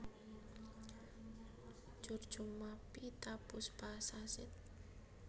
Curcuma peethapushpa Sasidh